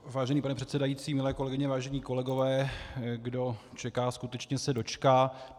Vážený pane předsedající, milé kolegyně, vážení kolegové, kdo čeká, skutečně se dočká.